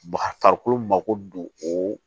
Baga farikolo mako don o